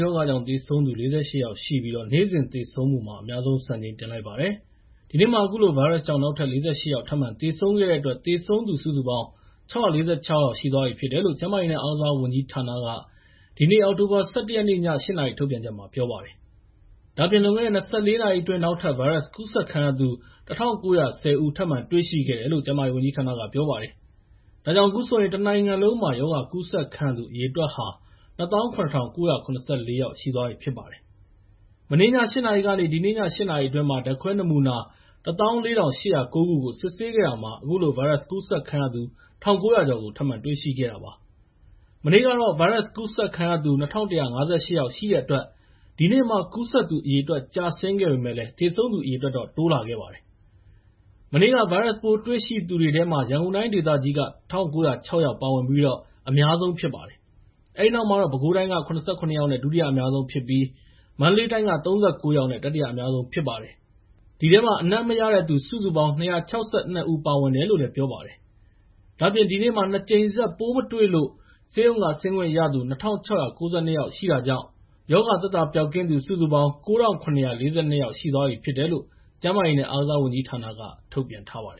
ရောဂါကြောင့် သေဆုံးသူ ၄၈ ယောက်ရှိပြီး နေ့စဉ်သေဆုံးမှု အများဆုံး စံချိန်တင်လိုက်ပါတယ်။ ဒီနေ့မှာ အခုလို ဗိုင်းရပ်စ်ကြောင့် နောက်ထပ် ၄၈ ယောက် သေဆုံးခဲ့တဲ့အတွက် သေဆုံးသူ စုစုပေါင်း ၆၄၆ ယောက်ရှိသွားပြီလို့ ကျန်းမာရေးနဲ့ အားကစားဝန်ကြီးဌာနက ဒီနေ့ည ၈ နာရီ ထုတ်ပြန်ချက်မှာ ပြောလိုက်ပါတယ်။ ဒါ့အပြင် လွန်ခဲ့တဲ့ ၂၄ နာရီအတွင်း နောက်ထပ် ဗိုင်းရပ်စ်ကူးစက်ခံရသူ ၁,၉၁၀ ဦး ထပ်မံတွေ့ရှိခဲ့တယ်လို့ ကျန်းမာရေးဝန်ကြီးဌာနက ပြောပါတယ်။ ဒါကြောင့် အခုဆိုရင် တနိုင်ငံလုံးမှာ ရောဂါကူးစက်ခံရသူ အရေအတွက်ဟာ ၂၇,၉၇၄ ယောက် ရှိသွားပြီဖြစ်ပါတယ်။ မနေ့ည ၈ နာရီကနေ ဒီနေ့ည ၈ နာရီအတွင်း ဓာတ်ခွဲနမူနာ ၁၄,၈၀၉ ခုကို စစ်ဆေးခဲ့တာမှာ အခုလို ဗိုင်းရပ်စ်ကူးစက်ခံရသူ ၁,၉၀၀ ကျော်ကို ထပ်မံတွေ့ရှိခဲ့တာ ဖြစ်ပါတယ်။ မနေ့ကတော့ ဗိုင်းရပ်စ်ကူးစက်သူ ၂,၁၅၈ ယောက်ရှိတဲ့အတွက် ဒီနေ့မှာ ကူးစက်သူအရေအတွက် ကျဆင်းခဲ့ပေမယ့် သေဆုံးသူအရေအတွက်တော့ တိုးလာခဲ့တာပါ။ မနေ့က ဗိုင်းရပ်စ်ပိုးတွေ့ရှိသူ ၂,၁၅၈ ယောက်ထဲမှာ ရန်ကုန်တိုင်းဒေသကြီးက ၁,၉၀၆ ယောက်နဲ့ အများဆုံးဖြစ်ပါတယ်။ အဲဒီနောက်မှာတော့ ပဲခူတိုင်းက ၇၇ ယောက်နဲ့ ဒုတိယအများဆုံးဖြစ်ပြီး မန္တလေးတိုင်းက ၃၉ ယောက်နဲ့ တတိယအများဆုံးဖြစ်ပါတယ်။ အဲဒီထဲမှာ အနံ့မရတဲ့သူ ၂၆၂ ဦး ပါဝင်တယ်လို့ ပြောပါတယ်။ ဒါ့အပြင် ဒီနေ့မှာ ၂ ကြိမ်ဆက် ပိုးမတွေ့လို့ ဆေးရုံက ဆင်းခွင့်ရသူ ၂,၆၉၂ ယောက်ရှိတာကြောင့် ရောဂါသက်သာ ပျောက်ကင်းသူ ၉,၇၄၂ ယောက် ရှိသွားပြီဖြစ်တယ်လို့ ကျန်းမာရေးဝန်ကြီးဌာနက ပြောပါတယ